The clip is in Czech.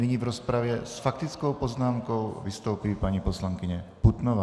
Nyní v rozpravě s faktickou poznámkou vystoupí paní poslankyně Putnová.